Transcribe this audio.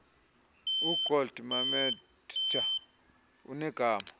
ugold mametja unegama